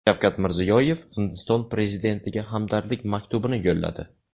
Shavkat Mirziyoyev Hindiston prezidentiga hamdardlik maktubini yo‘lladi.